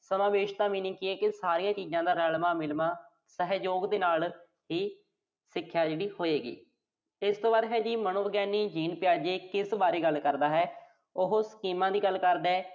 ਸਮਾਵੇਸ਼ ਦਾ meaning ਕੀ ਆ ਕਿ ਸਾਰੀਆਂ ਚੀਜ਼ਾਂ ਦਾ ਰਲਵਾਂ-ਮਿਲਵਾਂ, ਸਹਿਯੋਗ ਦੇ ਨਾਲ ਹੀ ਸਿੱਖਿਆ ਜਿਹੜੀ, ਹੋਏਗੀ। ਇਸ ਤੋਂ ਬਾਅਦ ਹੈਗਾ ਮਨੋਵਿਗਿਆਨੀ G Tyge ਕਿਸ ਬਾਰੇ ਗੱਲ ਕਰਦੈ। ਉਹ ਦੀ ਗੱਲ ਕਰਦੈ?